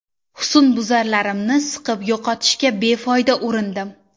Husnbuzarlarimni siqib yo‘qotishga befoyda urindim.